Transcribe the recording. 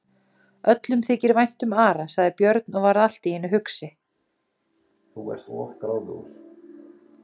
Öllum þykir vænt um Ara, sagði Björn og varð allt í einu hugsi.